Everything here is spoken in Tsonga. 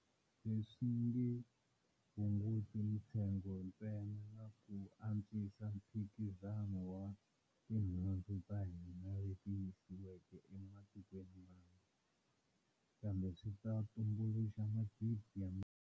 Leswi nge hunguti mitsengo ntsena na ku antswisa mphikizano wa tinhundzu ta hina leti yisiwaka ematikweni mambe, kambe swi ta tumbuluxa magidi ya.